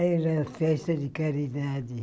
Era festa de caridade.